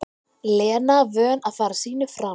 Lena vön að fara sínu fram.